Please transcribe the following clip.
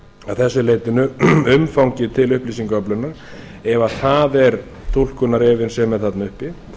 að þessu leytinu umfangið til upplýsingaöflunar ef það er túlkunarefinn sem er þarna uppi